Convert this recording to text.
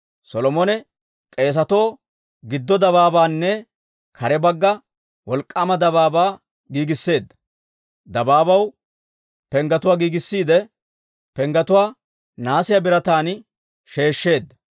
Solomone k'eesatoo giddo dabaabaanne kare bagga wolk'k'aama dabaabaa giigisseedda; dabaabaw penggetuwaa giigissiide, penggetuwaa nahaasiyaa birataan sheeshsheedda.